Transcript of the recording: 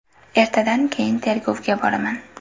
Ertadan keyin tergovga boraman.